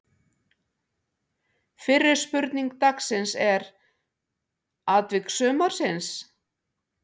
Fyrri spurning dagsins er: Atvik sumarsins?